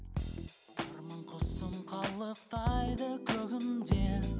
арман құсым қалықтайды көгімде